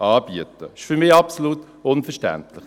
Das ist für mich absolut unverständlich.